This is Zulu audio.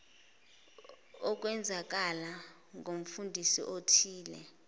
okwenzakala kumfundi othize